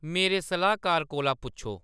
मेरे सलाह्‌‌‌कार कोला पुच्छो